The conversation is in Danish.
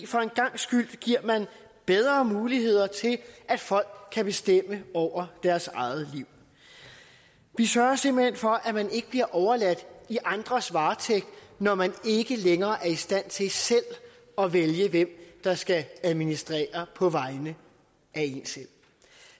for en gangs skyld giver bedre muligheder til at folk kan bestemme over deres eget liv vi sørger simpelt hen for at man ikke bliver overladt i andres varetægt når man ikke længere er i stand til selv at vælge hvem der skal administrere på vegne af en selv